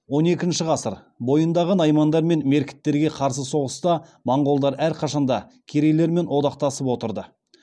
он екінші ғасыр бойындағы наймандар мен меркіттерге қарсы соғыста монғолдар әрқашанда керейлермен одақтасып отырды